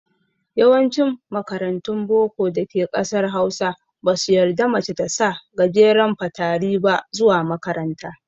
Yawancin makarantun boko da ke ƙasar Hausa, ba su yarda mace ta sa gajeren fatari ba zuwa makaranta.